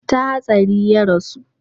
ta hatsari ya rasu?